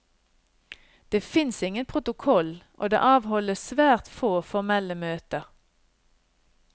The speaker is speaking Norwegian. Det fins ingen protokoll, og det avholdes svært få formelle møter.